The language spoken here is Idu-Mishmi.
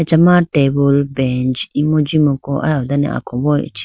achama tabool bench imu jimuku aya done akombo ichikhi.